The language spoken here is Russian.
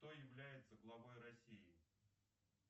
кто является главой россии